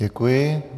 Děkuji.